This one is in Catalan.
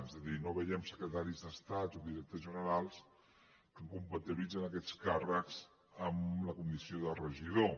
és a dir no veiem secretaris d’estat o directors generals que compatibilitzen aquests càrrecs amb la condició de regidor